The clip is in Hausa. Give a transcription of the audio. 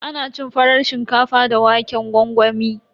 Ana cin farar shinkafa da waƙen gwangwami.